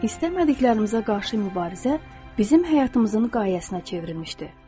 İstəmədiklərimizə qarşı mübarizə bizim həyatımızın qayəsinə çevrilmişdir.